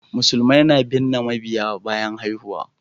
Musulmai na binne mabiyya bayan haihuwa